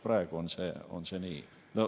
Praegu on see nii.